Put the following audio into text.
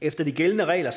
efter de gældende regler